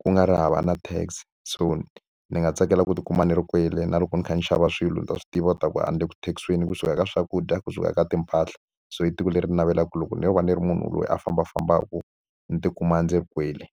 ku nga ri hava na tax. So ni ni nga tsakela ku tikuma ni ri kwale na loko ni kha ni xava swilo ni ta swi tiva leswaku a ni le ku tax-iweni kusuka ka swakudya, kusuka eka timpahla. So i tiko leri ndzi navelaka ku loko ni lo va ni ri munhu loyi a fambafambaka, ndzi tikuma ndzi ri kwale.